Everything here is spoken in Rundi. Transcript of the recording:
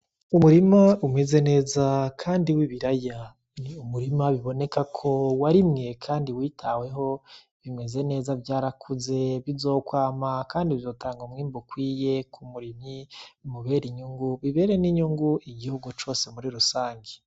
Umurima umeze neza kandi w'ibiraya. Ni umurima biboneka ko warimwe kandi witaweho, bimeze neza vyarakuze, bizokwama kandi bizotanga umwimbu ukwiye ku murimyi, bimubere inyungu, bibere n'inyungu igihugu cose muri rusangi.